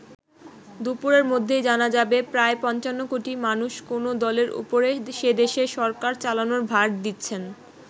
দুপুরের মধ্যেই জানা যাবে প্রায় পঞ্চান্ন কোটি মানুষ কোন দলের ওপরে সেদেশের সরকার চালানোর ভার দিচ্ছেন।